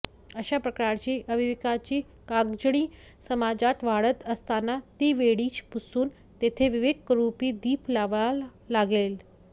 अशा प्रकारची अविवेकाची काजळी समाजात वाढत असताना ती वेळीच पुसून तेथे विवेकरूपी दीप लावावा लागेल